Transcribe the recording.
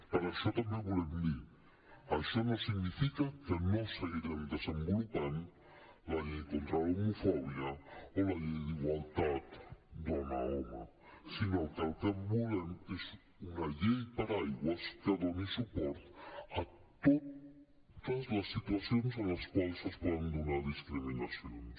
per això també volem dir això no significa que no seguirem desenvolupant la llei contra l’homofòbia o la llei d’igualtat dona home sinó que el que volem és una llei paraigua que doni suport a totes les situacions en les quals es poden donar discriminacions